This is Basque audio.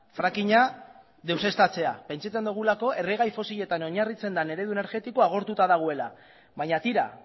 frakinga deuseztatzea pentsatzen dugula erregai fosiletan oinarritzen den eredu energetikoa agortuta dagoela baina tira